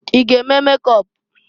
I g'eme mekọp?